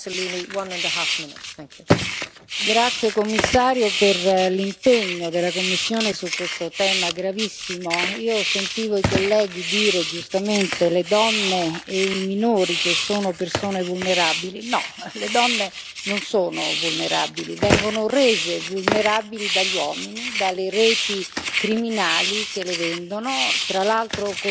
Signora Presidente, onorevoli colleghi, vorrei ringraziare il commissario per l'impegno della Commissione su questo tema gravissimo. Io sentivo i colleghi dire, giustamente le donne e i minori, che sono persone vulnerabili. No, le donne non sono vulnerabili vengono rese vulnerabili dagli uomini, dalle reti criminali che le vendono. Tra l'altro